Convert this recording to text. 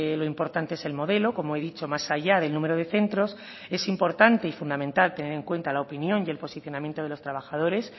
lo importante es el modelo como he dicho más allá del número de centros es importante y fundamental tener en cuenta la opinión y el posicionamiento de los trabajadores